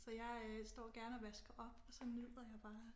Så jeg øh står gerne og vasker op og så nyder jeg bare